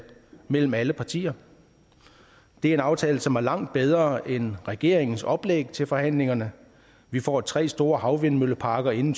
mellem alle partier det er en aftale som er langt bedre end regeringens oplæg til forhandlingerne vi får tre store havvindmølleparker inden